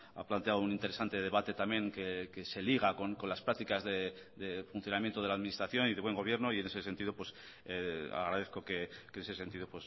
ha planteado un interesante debate también que se liga con las prácticas de funcionamiento de la administración y de buen gobierno y en ese sentido agradezco que ese sentido